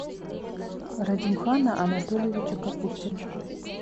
радимхана анатольевича капустина